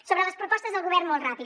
sobre les propostes del govern molt ràpid